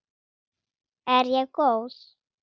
Er ég góð?